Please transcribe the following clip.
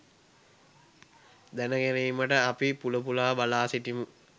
දැනගැනීමට අපි පුල පුලා බලා සිටිමු.